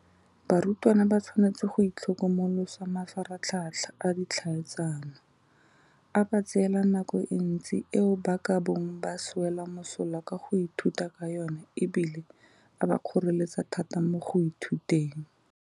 Barutwana ba tshwanetse go itlhokomolosa mafaratlhatlha a ditlhaeletsano, a ba tseela nako e ntsi eo ba ka bong ba e swela mosola ka go ithuta ka yona e bile a ba kgoreletsa thata mo go ithuteng.